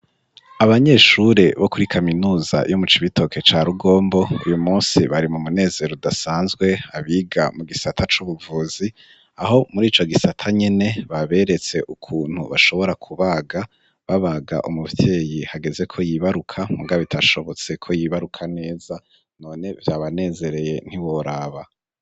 Abanyeshure bo kuri kaminuza yo mu cibitoke ca rugombo kuyu musi bari mu munezero udasanzwe abiga mu gisata c'ubuvuzi aho muri ico gisata nyene baberetse ukuntu bashobora kubaga babaga umuvyeyi hageze ko yibaruka mugabitashobotse ko yibaruka neza none banezereye ntiboraba.